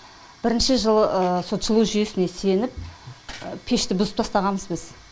бірінші жылы сол жылу жүйесіне сеніп пешті бұзып тастағанбыз біз